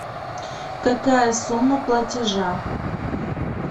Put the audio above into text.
какая сумма платежа